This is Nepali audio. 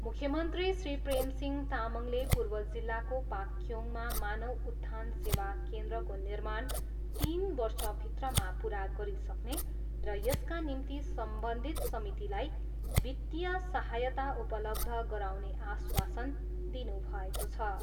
मुख्यमन्त्री श्री प्रेमसिंह तामाङले पूर्व जिल्लाको पाक्योङमा मानव उत्थान सेवा केन्द्रको निर्माण तिन वर्षभित्रमा पुरा गरिसक्ने र यसका निम्ति सम्बन्धित समितिलाई वित्तीय सहायता उपलब्ध गराउने आश्वासन दिनुभएको छ।